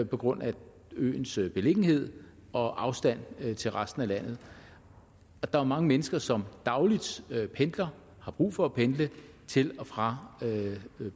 på grund af øens øens beliggenhed og afstand til resten af landet der er mange mennesker som dagligt pendler og har brug for at pendle til og fra